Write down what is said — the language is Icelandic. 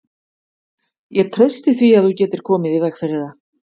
Ég treysti því, að þú getir komið í veg fyrir það